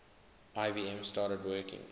ibm started working